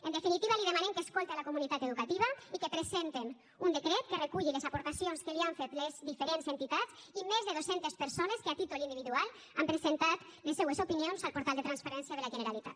en definitiva li demanem que escolte la comunitat educativa i que presenten un decret que reculli les aportacions que li han fet les diferents entitats i més de dos centes persones que a títol individual han presentat les seues opinions al portal de transparència de la generalitat